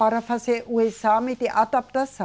Para fazer o exame de adaptação.